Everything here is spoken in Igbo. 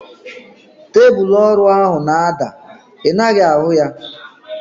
Tebụlu ọrụ ahu na-ada. I naghị ahu ya?